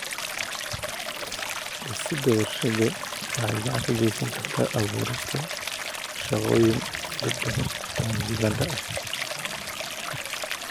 Dhisidda warshado waxay gacan ka geysan kartaa abuurista shaqooyin dad badan oo Ugandha ah.